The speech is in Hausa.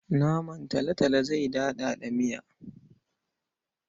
Naman talotalo zai daɗaɗa miya.